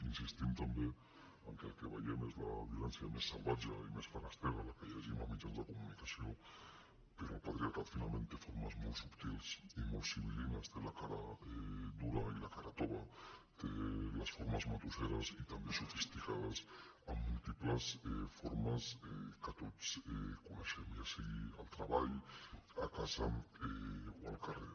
insistim també que el que veiem és la violència més salvatge i més feréstega la que llegim a mitjans de comunicació però el patriarcat finalment té formes molt subtils i molt sibilra tova té les formes matusseres i també sofisticades amb múltiples formes que tots coneixem ja sigui al treball a casa o al carrer